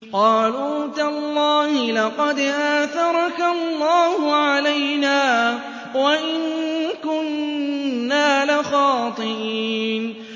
قَالُوا تَاللَّهِ لَقَدْ آثَرَكَ اللَّهُ عَلَيْنَا وَإِن كُنَّا لَخَاطِئِينَ